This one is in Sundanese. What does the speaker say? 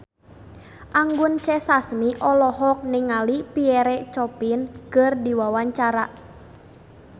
Anggun C. Sasmi olohok ningali Pierre Coffin keur diwawancara